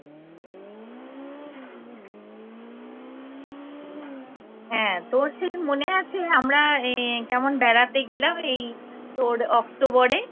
হ্যাঁ তোর সেদিন মনে আছে আমরা আহ কেমন বেড়াতে গেলাম এই তোর অক্টোবরে